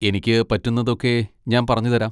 എനിക്ക് പറ്റുന്നതൊക്കെ ഞാൻ പറഞ്ഞുതരാം.